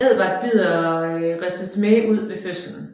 Edward bider Renesmee ud ved fødslen